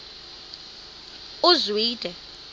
uzwide